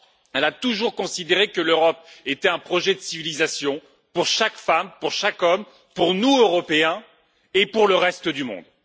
Elle a toujours considéré que l'Europe était un projet de civilisation pour chaque femme, pour chaque homme, pour nous, Européens, et pour le reste du monde.